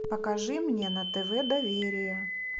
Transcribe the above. покажи мне на тв доверие